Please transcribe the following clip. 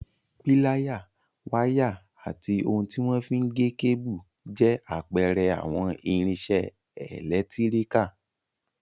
Píláyà, wáyà, ati ohun tí wọ́n fi n gé kébù, jẹ́ àpẹẹrẹ àwọn irinṣẹ́ ẹlẹtíríkà